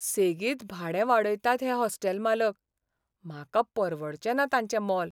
सेगीत भाडें वाडयतात हे हॉस्टेल मालक, म्हाका परवडचेना तांचें मोल.